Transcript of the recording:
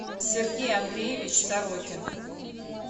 сергей андреевич сорокин